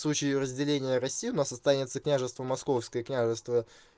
в случае разделения россию у нас останется княжество московское княжество